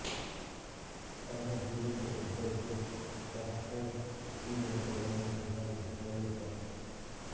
ತನ್ನ ಜೀವಿತದ ಉದ್ದಕ್ಕೂ ಪ್ಯಾಸ್ಕಲ್ ಈ ಯಂತ್ರಗಳನ್ನು ಸುಧಾರಿಸುತ್ತಲೇ ಇದ್ದ